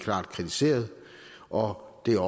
kritiseres og det er